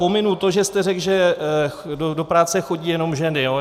Pominu to, že jste řekl, že do práce chodí jenom ženy.